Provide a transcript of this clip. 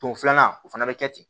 Don filanan o fana bɛ kɛ ten